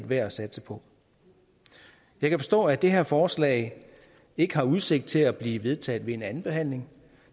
værd at satse på jeg kan forstå at det her forslag ikke har udsigt til at blive vedtaget ved en andenbehandling